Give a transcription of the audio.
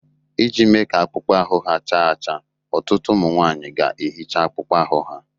Iji mee ka akpụkpọ ahụ ha cha cha, ọtụtụ ụmụ nwanyị ga-ehicha akpụkpọ ahụ ha